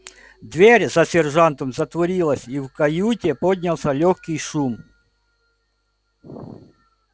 дверь за сержантом затворилась и в каюте поднялся лёгкий шум